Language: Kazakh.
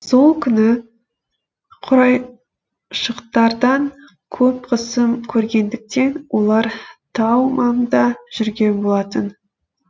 сол күні құрайыштықтардан көп қысым көргендіктен олар тау маңында жүрген болатын